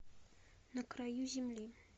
на краю земли